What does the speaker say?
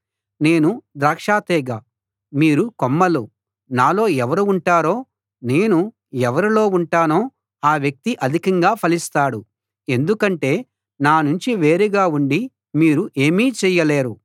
నేను ద్రాక్ష తీగ మీరు కొమ్మలు నాలో ఎవరు ఉంటారో నేను ఎవరిలో ఉంటానో ఆ వ్యక్తి అధికంగా ఫలిస్తాడు ఎందుకంటే నా నుంచి వేరుగా ఉండి మీరు ఏమీ చెయ్యలేరు